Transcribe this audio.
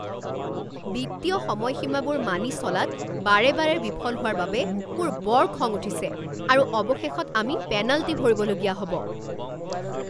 বিত্তীয় সময়সীমাবোৰ মানি চলাত বাৰে বাৰে বিফল হোৱাৰ বাবে মোৰ বৰ খং উঠিছে আৰু অৱশেষত আমি পেনাল্টি ভৰিবলগীয়া হ'ব।